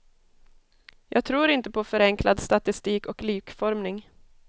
Jag tror inte på förenklad statistik och likformning.